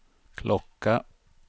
klocka